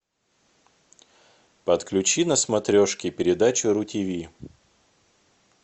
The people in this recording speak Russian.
подключи на смотрешке передачу ру тв